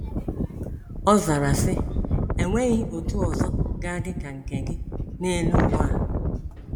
Ọzara sị, enweghị otu ọzọ ga dịka nkè gị n'elu uwa a.